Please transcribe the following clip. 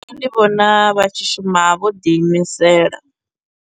Nṋe ndi vhona vha tshi shuma vho ḓi imisela.